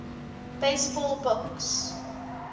baseball books